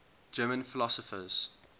german philosophers